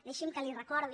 deixi’m que li recordi